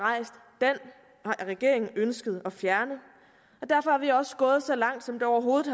regeringen ønsket at fjerne derfor er vi også gået så langt som det overhovedet